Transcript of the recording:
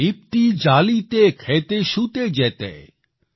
પ્રોદિપ્તી જાલિતે ખેતે શુતે જેતે |